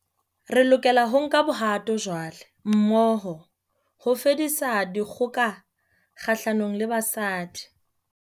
Re lokela ho nka bohato jwale, mmoho, ho fedisa dikgoka kgahlanong le basadi